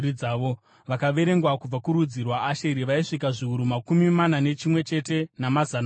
Vakaverengwa kubva kurudzi rwaAsheri vaisvika zviuru makumi mana nechimwe chete, namazana mashanu.